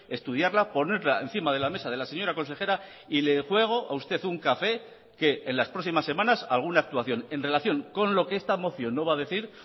estudiarla ponerla encima de la mesa de la señora consejera y le juego a usted un café que en las próximas semanas alguna actuación en relación con lo que esta moción no va a decir